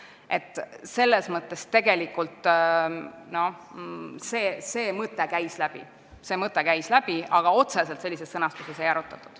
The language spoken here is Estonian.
Nii et see mõte tegelikult käis läbi, aga otseselt sellises sõnastuses seda ei arutatud.